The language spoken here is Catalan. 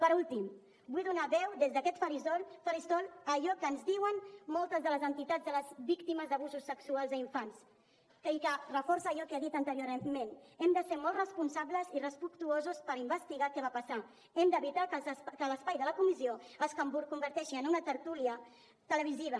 per últim vull donar veu des d’aquest faristol a allò que ens diuen moltes de les entitats de les víctimes d’abusos sexuals a infants i que reforça allò que he dit anteriorment hem de ser molt responsables i respectuosos per investigar què va passar hem d’evitar que l’espai de la comissió es converteixi en una tertúlia televisiva